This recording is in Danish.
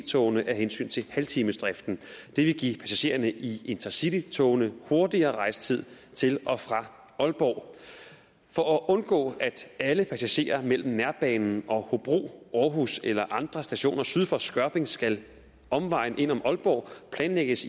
togene af hensyn til halvtimesdriften det vil give passagererne i intercitytogene kortere rejsetid til og fra aalborg for at undgå at alle passagerer mellem nærbanen og hobro aarhus eller andre stationer syd for skørping skal omvejen ind om aalborg planlægges